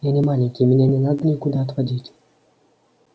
я не маленький меня не надо никуда отводить